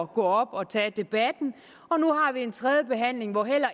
gå op og tage debatten og nu har vi en tredje behandling hvor